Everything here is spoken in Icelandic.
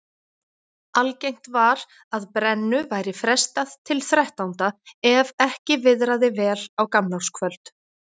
Algengt var að brennu væri frestað til þrettánda ef ekki viðraði vel á gamlárskvöld.